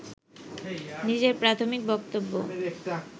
নিজের প্রাথমিক বক্তব্য